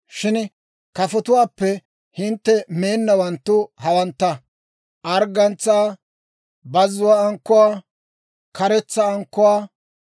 shin kafotuwaappe hintte meennawanttu hawantta: arggantsaa, bazzuwaa ankkuwaa, karetsa ankkuwaa,